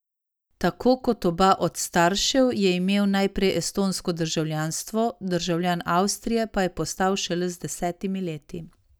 Tako kot oba od staršev je imel najprej estonsko državljanstvo, državljan Avstrije pa je postal šele z desetimi leti.